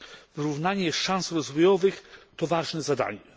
Wyrównanie szans rozwojowych to ważne zadanie.